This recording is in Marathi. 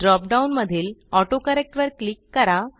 ड्रॉप डाऊन मधील ऑटोकरेक्ट वर क्लिक करा